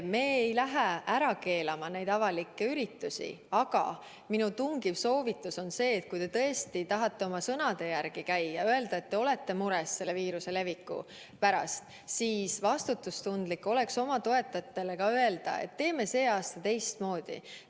Me ei keela neid avalikke üritusi ära, aga minu tungiv soovitus on see, et kui te tõesti tahate oma sõnade järgi käia, kui te olete mures viiruse leviku pärast, siis vastutustundlik oleks oma toetajatele öelda, et teeme see aasta teistmoodi.